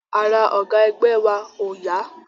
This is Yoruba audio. Ara ọ̀gá ẹgbẹ́ wa ò yá